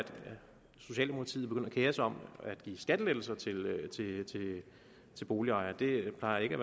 socialdemokratiet begynder at kere sig om at give skattelettelser til boligejerne det plejer ikke